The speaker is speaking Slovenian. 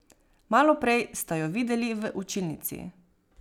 Malo prej sta jo videli v učilnici.